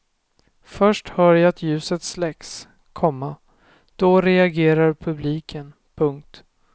Först hör jag att ljuset släcks, komma då reagerar publiken. punkt